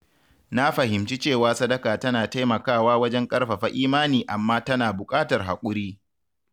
Na fahimci cewa sadaka tana taimakawa wajen ƙarfafa imani amma tana buƙatar haƙuri.